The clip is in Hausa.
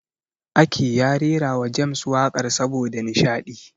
Ake ya rerawa James waƙar saboda nishaɗi.